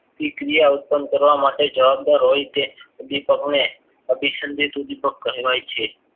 ક્રિયા ઉત્પન્ન કરવા માટે જવાબદાર હોય તે ઉદ્વિપકને અભિસંદિત ઉદ્વિપક કહેવાય છે